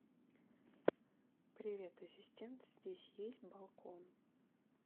привет ассистент здесь есть балкон